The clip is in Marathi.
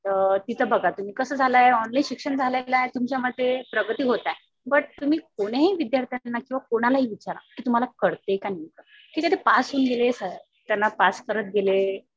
तर तिथं बघा तुम्ही कसं झालंय ऑनलाईन शिक्षण झालेलं आहे. तुमच्या मते प्रगती होत आहे. बट तुम्ही कोणीही विद्यार्थाला किंवा कोणालाही विचारा कि तुम्हाला कळतंय का नाही. ठीक आहे ते पास होऊन गेले. त्यांना पास करत गेले.